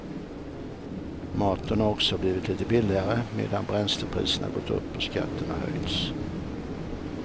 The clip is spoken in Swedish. Maten har också blivit lite billigare medan bränslepriserna gått upp och skatterna höjts.